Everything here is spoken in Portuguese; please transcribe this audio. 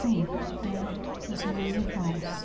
Sim, tem os meus irmãos.